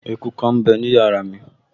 Eku kan m bẹ ní yàrá mi